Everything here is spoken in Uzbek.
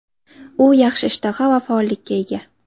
U yaxshi ishtaha va faollikka ega.